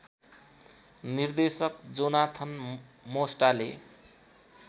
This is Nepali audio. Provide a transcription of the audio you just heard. निर्देशक जोनाथन मोस्टाले